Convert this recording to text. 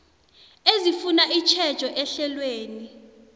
ezifuna itjhejo ehlelweni